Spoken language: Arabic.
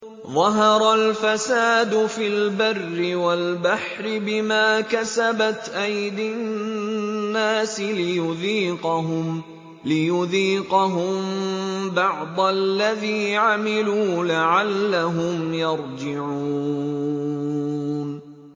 ظَهَرَ الْفَسَادُ فِي الْبَرِّ وَالْبَحْرِ بِمَا كَسَبَتْ أَيْدِي النَّاسِ لِيُذِيقَهُم بَعْضَ الَّذِي عَمِلُوا لَعَلَّهُمْ يَرْجِعُونَ